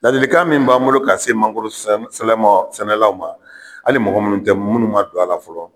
Ladilikan min b'an bolo ka se mangoro sɛnɛ sɛnɛlaw ma hali mɔgɔ minnu tɛ minnu man don a la fɔlɔ.